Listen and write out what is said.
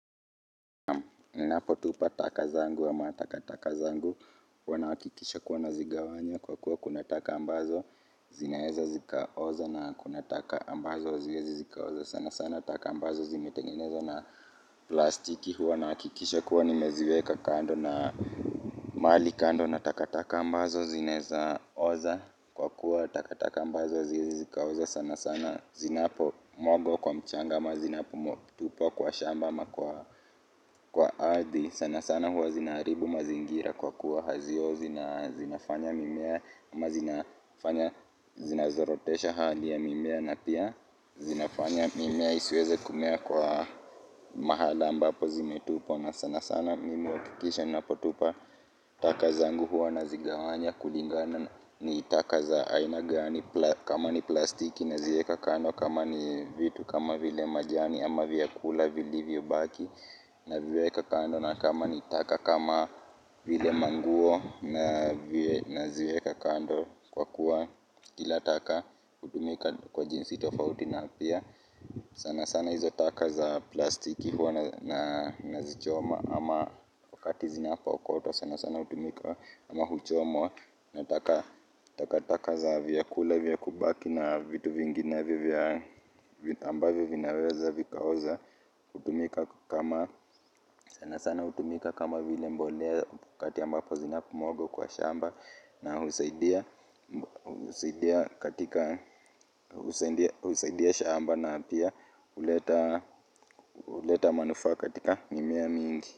Ninapo tupa taka zangu ama taka taka zangu huanahakikisha kuwa na zigawanya kwa kuwa kunataka ambazo zinaeza zika oza na kunataka ambazo hazieza zika oza sana sana taka ambazo zimetengenezwa na plastiki huwa na hakikisha kuwa nimeziweka kando na mahali kando nataka taka ambazo zinaeza oza kwa kuwa taka taka ambazo haziezi zika oza sana sana zinapo mwagwa kwa mchanga ama zinapo tupwa kwa shamba ama kwa ardhi sana sana huwa zinaharibu mazingira kwa kuwa haziozi na zinafanya mimea amazinafanya zinazorotesha haliya mimea na pia zinafanya mimea isiweze kumea kwa mahala ambapo zimetupwa na sana sana mimi huhakikisha na potupa taka za ngu huwa na zigawanya kulingana ni taka za ainagani kama ni plastiki na zieka kando kama ni vitu kama vile majani ama vya kula vili vyo baki na viweka kando na kama ni taka kama vile manguo na vye na ziweka kando kwa kuwa kila taka hutumika kwa jinsi tofauti na pia. Sana sana hizo taka za plastiki huwa na zichoma ama wakati zina po okotwa sana sana hutumika ama huchomwa na taka taka za vyakula vya kubaki na vitu vinginevyo vya amba vyo vinaweza vikaoza hutumika kama sana sana hutumika kama vile mbolea wakati ambapo zina pomwagwa kwa shamba na husaidia katika husaidia shamba na pia huleta manufaa katika mimea mingi.